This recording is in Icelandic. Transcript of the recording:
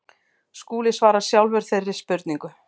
Skúli svarar sjálfur þeirri spurningu.